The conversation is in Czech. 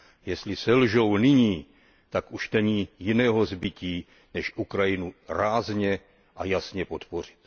Jestli selžou nyní, tak už není jiného zbytí než Ukrajinu rázně a jasně podpořit.